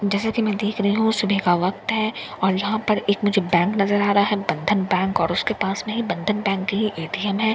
जैसा कि मैं देख रही हूं सुबह का वक्त है और यहां पर एक मुझे बैंक नजर आ रहा है बंधन बैंक और उसके पास में ही बंधन बैंक की एटीएम है --